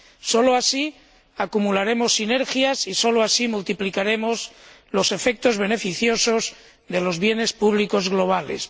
Solo así acumularemos sinergias y solo así multiplicaremos los efectos beneficiosos de los bienes públicos globales.